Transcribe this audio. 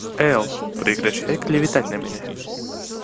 эл прекращай клеветать на меня